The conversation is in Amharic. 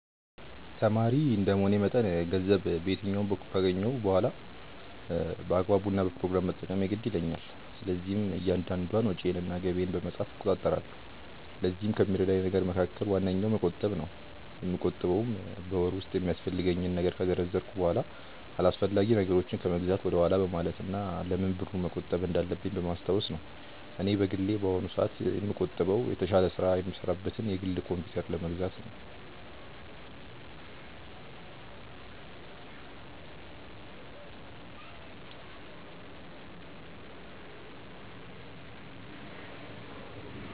ተማሪ እንደመሆኔ መጠን ገንዘብ በየትኛውም በኩል ካገኘሁ በኋላ በአግባቡ እና በፕሮግራም መጠቀም የግድ ይለኛል። ስለዚህም እያንዳንዷን ወጪዬን እና ገቢዬን በመጻፍ እቆጣጠራለሁ። ለዚህም ከሚረዳኝ ነገር መካከል ዋነኛው መቆጠብ ነው። የምቆጥበውም በወር ውስጥ የሚያስፈልገኝን ነገር ከዘረዘርኩ በኋላ አላስፈላጊ ነገሮችን ከመግዛት ወደኋላ በማለት እና ለምን ብሩን መቆጠብ እንዳለብኝ በማስታወስ ነው። እኔ በግሌ በአሁኑ ሰአት ላይ የምቆጥበው የተሻለ ስራ የምሰራበትን የግል ኮምፕዩተር ለመግዛት ነው።